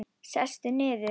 Sestu niður.